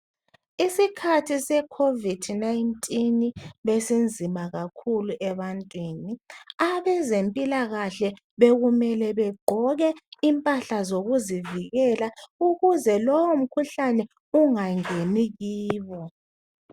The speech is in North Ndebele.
Isikhathi se-Covid-19 besinzima kakhulu ebantwini abezempilakahle, bekumele begqoke impahla zokuzivikela ukuze lowumkhuhlane ungangeni kibo.